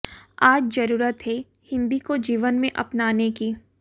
आज जरूरत है हिन्दी को जीवन में अपनाने की